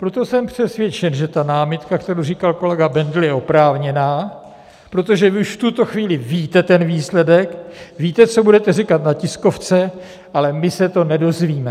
Proto jsem přesvědčen, že ta námitka, kterou říkal kolega Bendl, je oprávněná, protože vy už v tuto chvíli víte ten výsledek, víte, co budete říkat na tiskovce, ale my se to nedozvíme.